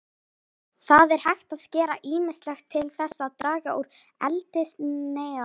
Það er hægt að gera ýmislegt til þess að draga úr eldsneytisnotkun bifreiða.